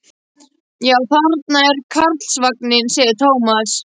Já, þarna er Karlsvagninn, segir Tómas.